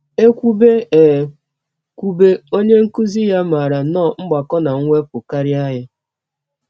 E kwụbe E kwụbe, onye nkụzi ya maara nnọọ mgbakọ na mwepụ karịa ya.